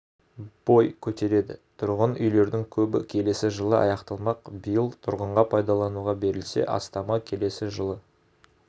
бой көтереді тұрғын үйлердің көбі келесі жылы аяқталмақ биыл тұрғынға пайдалануға берілсе астамы келесі жылы